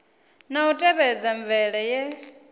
na u tevhedza mvelele ye